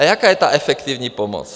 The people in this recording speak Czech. A jaká je ta efektivní pomoc?